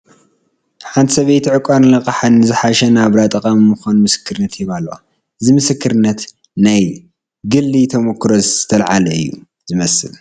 ሓንቲ ሰበይቲ ዕቋርን ልቃሕን ንዝሓሸ ናብራ ጠቓሚ ምዃኑ ምስክርነት ይህባ ኣለዋ፡፡ እዚ ምስክርነት ካብ ናይ ግሊ ተመኩሮ ዝተለዓለ እዩ ዝመስል፡፡